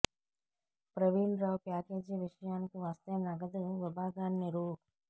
Praveen Rao package విషయానికి వస్తే నగదు విభాగాన్ని రూ